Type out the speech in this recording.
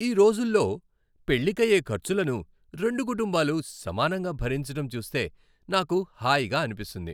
ఈ రోజుల్లో పెళ్లికయ్యే ఖర్చులను రెండు కుటుంబాలు సమానంగా భరించటం చూస్తే నాకు హాయిగా అనిపిస్తుంది.